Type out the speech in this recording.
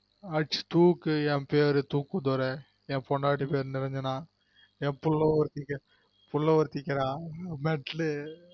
அடிச்சு தூக்கு என் பேரு தூக்குதுரை என் பொண்டாட்டி பேரு நிரஞ்சனா என் பிள்ள ஒரு என் பிள்ல ஒட்டிக்க டா பட்லு